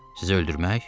Sizi öldürmək?